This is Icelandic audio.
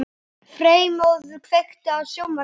Freymóður, kveiktu á sjónvarpinu.